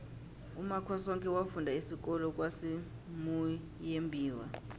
umakhosoke wafunda isikolo kwasimuyembiwa